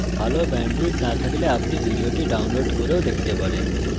ভালো bandwidth না থাকলে আপনি এটি download করেও দেখতে পারেন